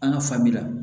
An ka fabila